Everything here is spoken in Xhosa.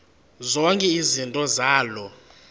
zonke izinto zaloo